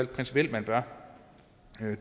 principielt bør